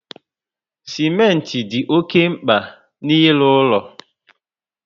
Simenti dị oké mkpa n'ilu ulo